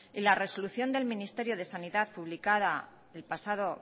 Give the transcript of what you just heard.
y la resolución del ministerio de sanidad publicada el pasado